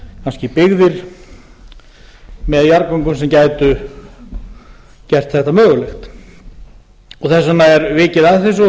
kannski byggðir með jarðgöngum sem gætu gert þetta mögulegt þess vegna er vikið að þessu og